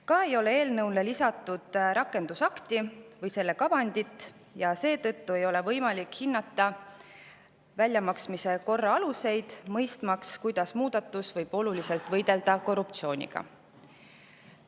Ka ei ole eelnõule lisatud rakendusakti või selle kavandit ja seetõttu ei ole võimalik hinnata väljamaksmise korra aluseid, mõistmaks, kuidas muudatus oluliselt võidelda korruptsiooniga.